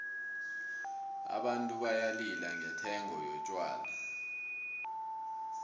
abantu bayalila ngendengo yotjhwala